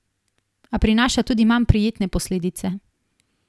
A prinaša tudi manj prijetne posledice.